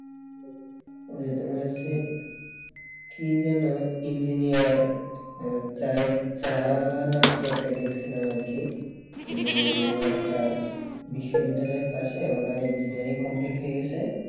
ওই যে তোমার হচ্ছে কি যেন engineer চায়ের চাওয়ালা না কি একটা দেখছিলাম আর কি মানে তোমার একটা বিশ্ববিদ্যালয়ের পাশে ওরাই engineering complete হয়ে গেছে